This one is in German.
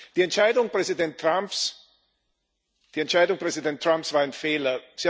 Die Entscheidung Präsident Trumps war ein Fehler.